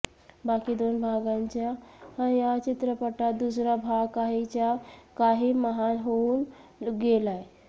बाकी दोन भागांच्या या चित्रपटात दुसरा भाग काहीच्या काही महान होऊन गेलाय